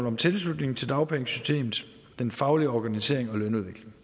om tilslutning til dagpengesystemet faglig organisering og lønudvikling